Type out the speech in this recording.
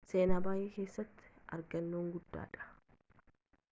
seenaa ebay keessatti argannoo guddaadha